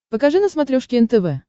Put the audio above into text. покажи на смотрешке нтв